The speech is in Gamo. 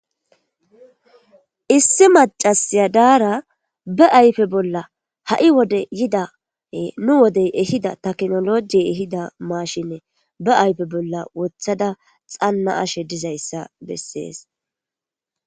Issi macasiya daara ba ayfe bolla ha'i wode yidae nu wodey ehida taknoloji ehida maashinne ba ayfe bolla wothada xanna ashe dizayssa bessees.